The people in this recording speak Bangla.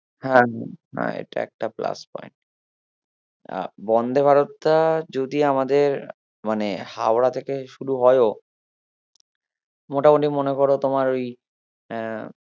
হ্যাঁ আহ এটা একটা plus point আহ বন্দে ভারতটা যদি আমাদের মানে হাওড়া থেকে শুরু হয়ও মোটামুটি মনে করো তোমার ওই আহ